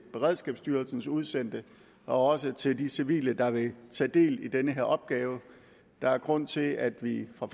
beredskabsstyrelsens udsendte og også til de civile der vil tage del i den her opgave der er grund til at vi fra